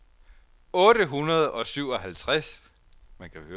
otte hundrede og syvoghalvtreds